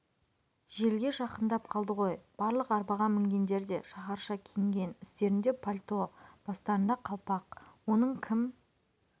желге жақындап қалды ғой барлық арбаға мінгендер де шаһарша ки-інген үстерінде пальто бастарында қалпақ оның кім